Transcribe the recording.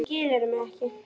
Skilurðu mig ekki?